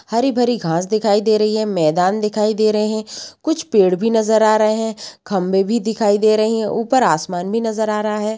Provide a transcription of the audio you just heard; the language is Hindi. हरी-भरी घांस दिखाई दे रही हैं। मैदान दिखाई दे रहे हैं। कुछ पेड़ भी नजर आ रहे हैं। खम्भे भी दिखाई दे रहे हैं। ऊपर आसमान भी नजर आ रहा है।